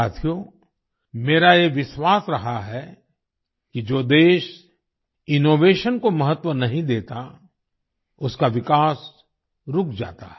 साथियो मेरा ये विश्वास रहा है कि जो देश इनोवेशन को महत्व नहीं देता उसका विकास रुक जाता है